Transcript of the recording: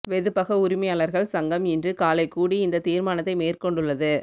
வெதுப்பக உரிமையாளர்கள் சங்கம் இன்று காலை கூடி இந்த தீர்மானத்தை மேற்கொண்டுள்ளது